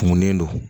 Kunkunen don